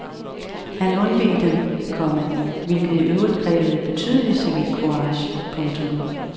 Han undveg dem, komma hvilket i øvrigt krævede betydelig civil courage. punktum